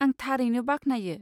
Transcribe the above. आं थारैनो बाख्नायो।